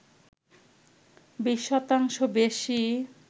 ২০ শতাংশ বেশি